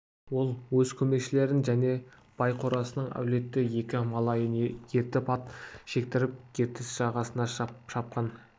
ол өз көмекшілерін және бай қорасының әлуетті екі малайын ертіп ат жектіріп ертіс жағасына шапқан